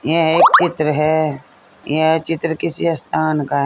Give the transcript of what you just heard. यह एक चित्र है यह चित्र किसी स्थान का है।